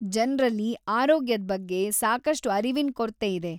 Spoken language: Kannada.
ಜನ್ರಲ್ಲಿ ಆರೋಗ್ಯದ್ ಬಗ್ಗೆ ಸಾಕಷ್ಟು ಅರಿವಿನ್ ಕೊರ್ತೆ ಇದೆ.